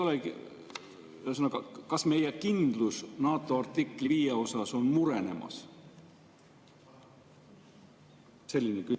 Ühesõnaga, kas meie kindlus NATO artikli 5 suhtes on murenemas?